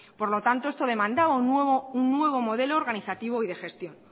por lo tanto esto demandaba un nuevo modelo organizativo y de gestión